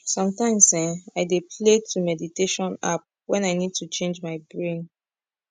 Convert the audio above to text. sometimes eh i dey play to meditation app when i need to change my brain